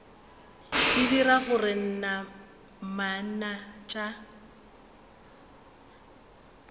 e dira gore namana tša